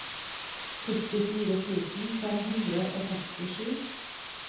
førtifire tusen fem hundre og sekstisju